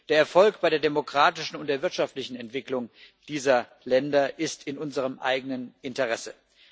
Der Erfolg bei der demokratischen und der wirtschaftlichen Entwicklung dieser Länder ist in unserem eigenen Interesse.